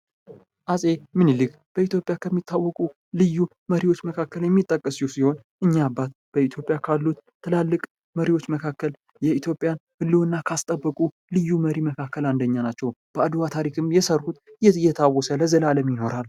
ዐፄ ምኒልክ በኢትዮጵያ ከሚታወቁ ልዩ መሪዎች መካከል የሚጠቀሱ ሲሆን እኝህ አባት በኢትዮጵያ ካሉት ትላልቅ መሪዎች መካከል የኢትዮጵያን ህልውና ካስታወቁ ልዩ መሪ መካከል አንደኛ ናቸው። በአድዋ ታሪክ የሰሩት የታወሰ ለዓለም ይኖራል።